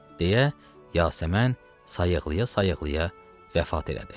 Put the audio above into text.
deyə Yasəmən sayıqlaya-sayıqlaya vəfat elədi.